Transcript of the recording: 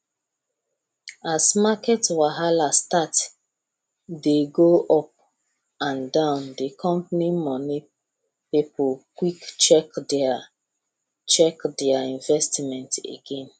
as market wahala start dey go up and down the company money people quick check their check their investment again